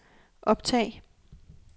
optag